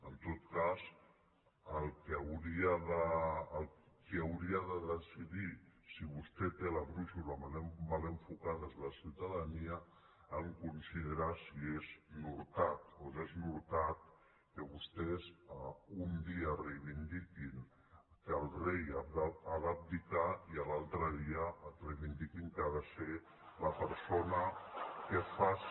en tot cas qui hauria de decidir si vostè té la brúixola mal enfocada és la ciutadania en considerar si és nortat o desnortat que vostès un dia reivindiquin que el rei ha d’abdicar i l’altre dia reivindiquin que ha de ser la persona que faci